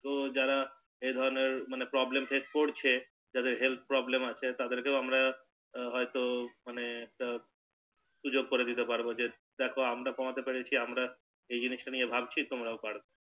তো যারা এই ধরণের মানে Problem Face করছে যাদের Health Problem আছে তাদের কেও আমরা হয়তো মানে হু সুযোগ করে দিতে পারবো দেখো আমরা কমাতে পেরেছি আমরা এই জিনিস টা নিয়ে ভাবছি তোমরাও করো